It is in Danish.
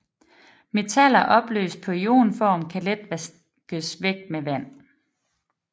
Metaller opløst på ionform kan let vaskes væk med vand